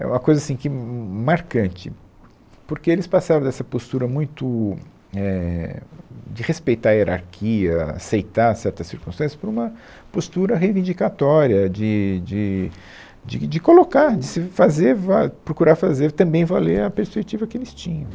É uma coisa assim que marcante, porque eles passaram dessa postura muito éh de respeitar a hierarquia, aceitar certas circunstâncias, para uma postura reivindicatória de de de de colocar, de se fazer val, procurar fazer também valer a perspectiva que eles tinham.